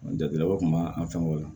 Jatigilabaw kun b'an fɛn o la